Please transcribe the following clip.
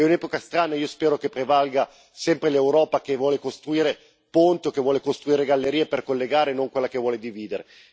È un'epoca strana, io spero che prevalga sempre l'Europa che vuole costruire ponti e gallerie per collegare e non quella che vuole dividere.